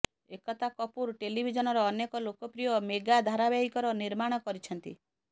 ଏକତା କପୁର ଟେଲିଭିଜନର ଅନେକ ଲୋକପ୍ରିୟ ମେଗା ଧାରାବାହିକର ନିର୍ମାଣ କରିଛନ୍ତି